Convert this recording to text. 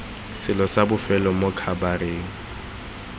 selo sa bofelo mo khabareng